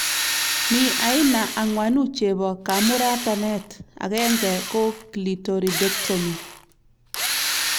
Mi aina angwanu chebo kamuratanet 1 : Clitoridectomy